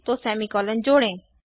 तो सेमीकॉलन जोड़ें